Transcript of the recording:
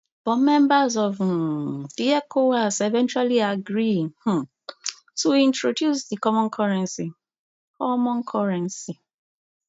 but members of um di ecowas eventually agree um tointroduce di common currency common currency